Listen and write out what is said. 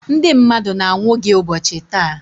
ndị mmadụ na-anwụ gị ụbọchị taa.